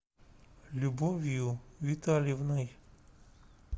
любовью витальевной